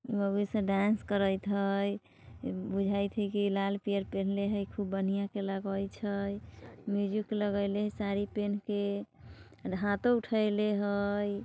मौगी सब डांस करेत है बुझाय छे कि लाल - पीयर पहीनले हय खूब बढ़ियां से लगैत छै म्यूजिक लगैले है साड़ी पहन के हाथों उठाइले हय |